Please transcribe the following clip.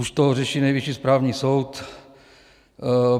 Už to řeší Nejvyšší správní soud.